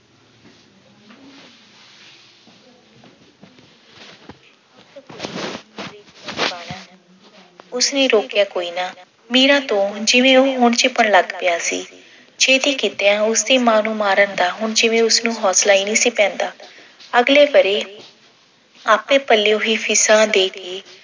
ਉਸਨੇ ਰੋਕਿਆ ਕੋਈ ਨਾ। ਮੀਰਾ ਤੋਂ ਹੁਣ ਉਹ ਜਿਵੇਂ ਝਿਪਣ ਲੱਗ ਪਿਆ ਸੀ। ਛੇਤੀ ਕਿਤਿਆਂ ਉਸਦੀ ਮਾਂ ਦੀ ਨੂੰ ਮਾਰਨ ਦਾ ਹੁਣ ਜਿਵੇਂ ਉਸਨੂੰ ਹੌਸਲਾ ਹੀ ਨਹੀਂ ਸੀ ਪੈਂਦਾ। ਅਗਲੇ ਵਰ੍ਹੇ ਆਪੇ ਪੱਲਿਓ ਹੀ fees ਦੇ ਕੇ